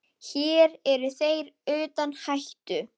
Hér eru þeir utan hættu.